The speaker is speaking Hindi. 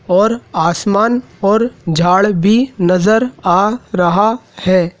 और आसमान और झाड़ भी नजर आ रहा है।